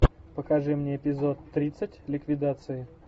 покажи мне эпизод тридцать ликвидация